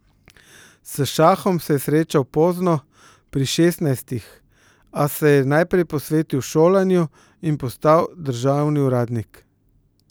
S šahom se je srečal pozno, pri šestnajstih, a se je najprej posvetil šolanju in postal državni uradnik.